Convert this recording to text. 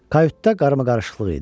Kayutda qarama-qarışıqlıq idi.